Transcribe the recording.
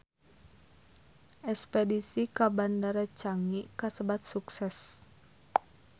Espedisi ka Bandara Changi kasebat sukses